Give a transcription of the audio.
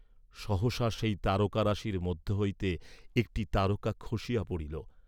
সহসা সেই তারকারাশির মধ্য হইতে একটি তারকা খসিয়া পড়িল।